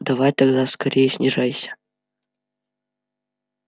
давай тогда скорее снижайся